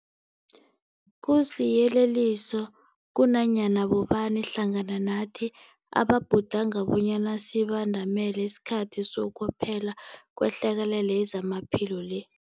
Kusiyeleliso kunanyana bobani hlangana nathi ababhudanga bonyana sibandamele isikhathi sokuphela kwehlekelele yezamaphilo le.